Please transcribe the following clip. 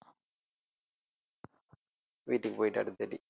வீட்டுக்கு போயிட்டு அடுத்ததாட்டி